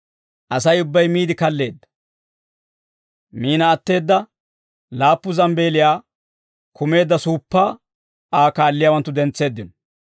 Asay ubbay miide kalleedda; miina atteedda laappu zambbeeliyaa kumeedda suuppaa Aa kaalliyaawanttu dentseeddino.